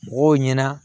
Mɔgɔw ɲɛna